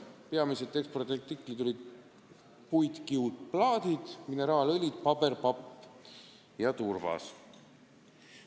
Peamised ekspordiartiklid olid puitkiudplaadid, mineraalõlid, paber, papp ja turvas.